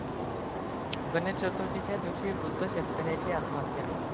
गणेश चतुर्थीच्या दिवशी वृद्ध शेतकऱ्याची आत्महत्या